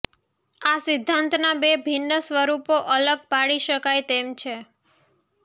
આ સિદ્ધાંતના બે ભિન્ન સ્વરૂપો અલગ પાડી શકાય તેમ છે